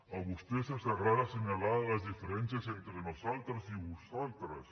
a vostès els agrada assenyalar les diferències entre nosaltres i vosaltres